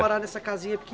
Morar nessa casinha